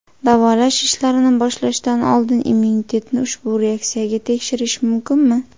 Davolash ishlarini boshlashdan oldin immunitetni ushbu reaksiyaga tekshirish mumkinmi?